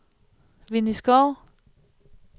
Winnie Schou